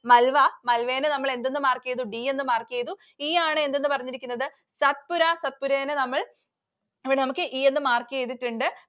Malwa. Malwa നെ നമ്മൾ എന്തെന്ന് mark ചെയ്തു? D എന്ന് mark ചെയ്തു. E ആണ് എന്തെന്ന് പറഞ്ഞിരിക്കുന്നത്? Satpura. Satpura നെ നമ്മൾ, ഇവിടെ E എന്ന് mark ചെയ്‌തിട്ടുണ്ട്‌.